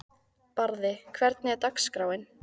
Barði, hvernig er dagskráin?